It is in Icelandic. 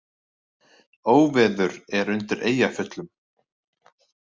Óveður er undir Eyjafjöllum